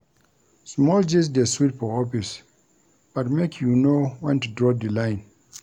Small gist dey sweet for office but make you know wen to draw di line.